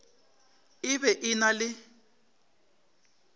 e be e na le